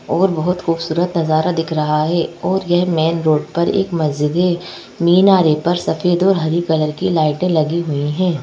और बहुत खूबसूरत नज़ारा दिख रहा है और यह मेन रोड पर एक मस्जिद है मीनारे पर सफ़ेद और हरी कलर की लाइटें लगी हुई हैं।